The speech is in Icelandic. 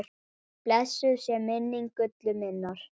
Blessuð sé minning Gullu minnar.